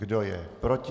Kdo je proti?